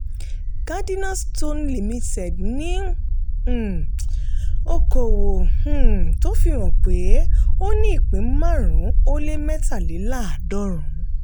cardinalstone securities limited ní um okòwò um tó fi hàn pé ó ní ìpín márùn-ún ó lé mẹ́tàléláàdọ́run.